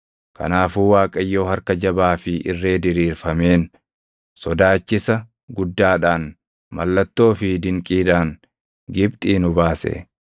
Kanaafuu Waaqayyo harka jabaa fi irree diriirfameen, sodaachisa guddaadhaan, mallattoo fi dinqiidhaan Gibxii nu baase.